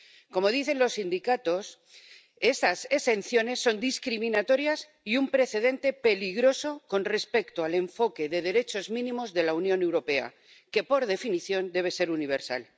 Como dicen los sindicatos, esas exenciones son discriminatorias y un precedente peligroso con respecto al enfoque de derechos mínimos de la Unión Europea que, por definición, debe ser universal.